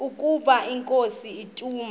ukaba inkosi ituna